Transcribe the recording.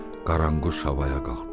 Qaranquş havaya qalxdı.